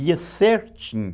Ia certinho.